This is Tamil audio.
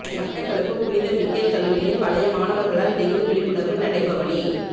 மட்டக்களப்பு புனித மிக்கேல் கல்லூரியின் பழைய மாணவர்களால் டெங்கு விழிப்புணர்வு நடைபவனி